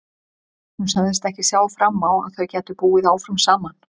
Hún sagðist ekki sjá fram á að þau gætu búið áfram saman.